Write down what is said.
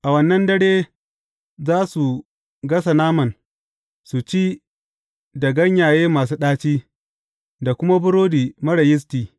A wannan dare, za su gasa naman, su ci da ganyaye masu ɗaci, da kuma burodi marar yisti.